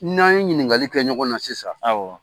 N'an ye ɲininkali kɛ ɲɔgɔn na sisan,